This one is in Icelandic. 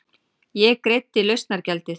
Ég greiddi lausnargjaldið.